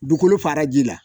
Dugukolo fara ji la